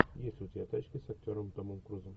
есть ли у тебя тачки с актером томом крузом